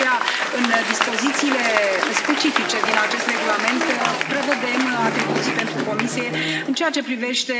De aceea, în dispozițiile specifice din acest regulament prevedem atribuții pentru Comisie, în ceea ce privește